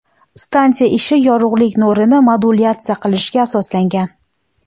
Stansiya ishi yorug‘lik nurini modulyatsiya qilishga asoslangan.